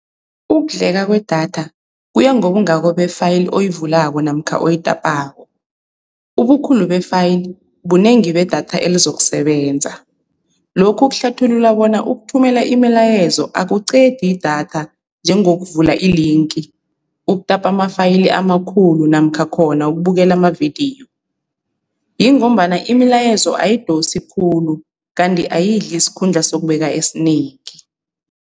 Ukudleka kwedatha kuya ngobungako be-file oyivulako namkha oyitapako. Ubukhulu be-file bunengi bedatha elizokusebenza, lokhu kuhlathulula bona ukuthumela imilayezo akuqedi idatha njengokuvula ilinki, ukutapa ama-file amakhulu namkha khona ukubukela amavidiyo, yingombana imilayezo ayidosi khulu kanti ayidli isikhundla sokubeka esinengi.